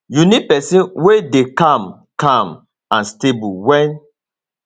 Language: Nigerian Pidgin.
you need pesin wey dey calm calm um and stable wen